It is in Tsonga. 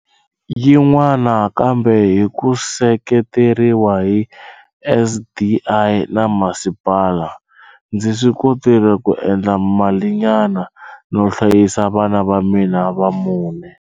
Yin'wana, kambe hi ku seketeriwa hi SDI na masipala, ndzi swi kotile ku endla malinyana no hlayisa vana va mina va mune.